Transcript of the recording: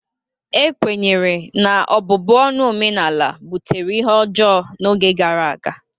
Ekwenyere na ọbụbụ ọnụ omenala butere ihe ọjọọ n'oge gara aga